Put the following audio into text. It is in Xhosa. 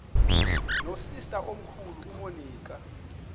nosister omkhulu umonica